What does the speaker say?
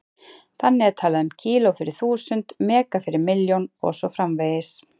Þannig er talað um kíló- fyrir þúsund, mega- fyrir milljón og svo framvegis.